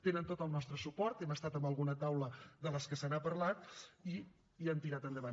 tenen tot el nostre suport hem estat en alguna taula de les que se n’ha parlat i han tirat endavant